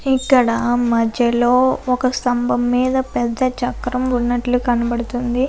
ఇక్కడ మధ్యలోనే ఒక స్తంభం మీద చక్రము ఉన్నట్లు కనబడుతోంది.